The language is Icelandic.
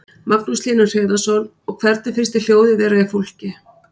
Magnús Hlynur Hreiðarsson: Og hvernig finnst þér hljóðið vera í fólki?